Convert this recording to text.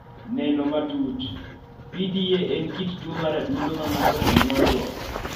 Neno matut PDA en kit tuo mar adundo ma ng�ato onyuolego.